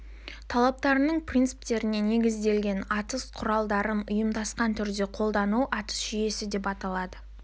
талаптарының принциптеріне негізделген атыс құралдарын ұйымдасқан түрде қолдану атыс жүйесі деп айтылады